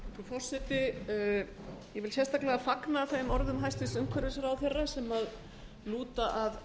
forseti ég vil sérstaklega fagna þeim orðum hæstvirts umhverfisráðherra sem lúta að